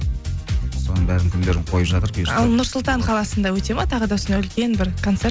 соның бәрінің күндерін қойып жатыр бұйырса ал нұр сұлтан қаласында өте ме тағы да осындай үлкен бір концерт